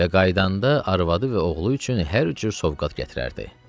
Və qayıdanda arvadı və oğlu üçün hər cür sovqat gətirərdi.